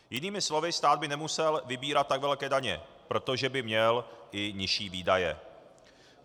Jinými slovy, stát by nemusel vybírat tak velké daně, protože by měl i nižší výdaje.